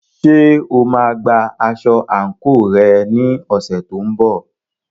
Ṣé o máa gba aṣọ àǹkóò rẹ ní ọ̀sẹ̀ tó ń bọ̀?